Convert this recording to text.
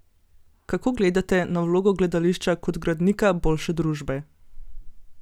Kako gledate na vlogo gledališča kot gradnika boljše družbe?